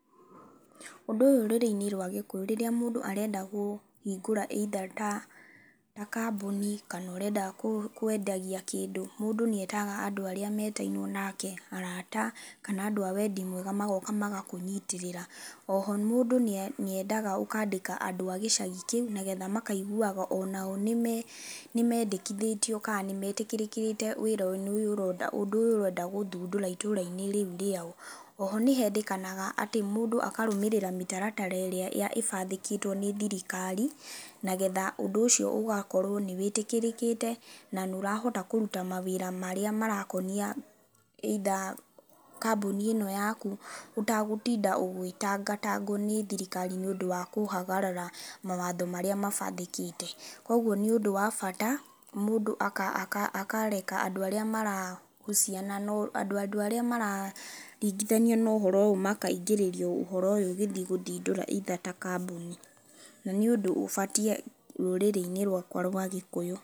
Ũndũ ũyũ rũrĩrĩ-inĩ rwa gĩkũyũ rĩrĩa mũndũ arenda gũ kũhingũra either ta ta kambũni kana ũrenda kũ kwendagia kĩndũ, mũndũ nĩetaga andũ arĩa metainwo nake, arata kana andũ a wendi mwega magoka magakũnyitĩrĩra. Oho mũndũ nĩe nĩendaga ũkandĩka andũ a gĩcagi kĩu nĩgetha makaiguaga onao nĩme nĩmendĩkithĩtio kana nĩmetĩkĩrikĩte wĩra-inĩ ũyũ ũrona ũyũ ũrenda gũthũndũra itũra-inĩ rĩũ riao. Oho nĩ hendĩkanaga atĩ mũndũ akarũmĩrĩra mĩtaratara ĩrĩa ya ĩbandĩkĩtwo nĩ thirikari, nagetha ũndũ ũcio ũgakorwo nĩwĩtĩkĩrĩkĩte, na nĩũrahota kũrũta mawĩra marĩa marakonia either kambũni ĩno yakũ ũtagũtinda ũgĩtangatangwo nĩ thirikari nĩũndũ wa kũhagarara mawatho marĩa mabandĩkĩte. Kwoguo nĩ ũndũ wabata mũndũ aka aka akareka andũ arĩa mara husiana na andũ arĩa mara ringĩthanio na ũhoro ũyũ makaingĩrio ũhoro ũyũ ũgĩthiĩ gũthindũria either ta kambũni, na nĩ ũndũ ũbatiĩ rũrĩrĩ-inĩ rwakwa rwa gĩkũyũ.